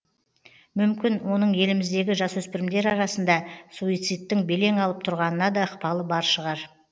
мүмкін оның еліміздегі жасөспірімдер арасында суцидтің белең алып тұрғанына да ықпалы бар шығар